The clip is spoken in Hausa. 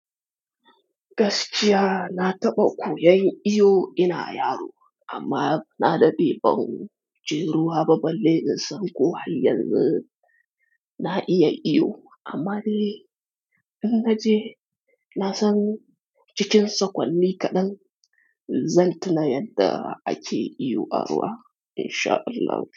Gaskiya na taɓa koyan iyo ina yaro, amma na ɗaɗe ban je ruwa ba. Balle na san ko har yanzu na iya iyo. Amma dai in naje na san cikin sakonni kaɗan zan tuna yadda ake iyo a ruwa in sha Allah.